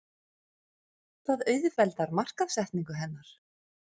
Það auðveldar markaðssetningu hennar.